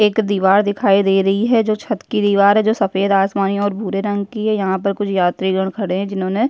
एक दीवार दिखाई दे रही है जो छत की दीवार है जो सफेद आसमानी और भूरे रंग की है यहां पर कुछ यात्रीगण खड़े है जिन्होंने --